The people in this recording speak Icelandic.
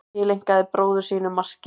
Tileinkaði bróður sínum markið